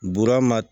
Bura ma